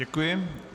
Děkuji.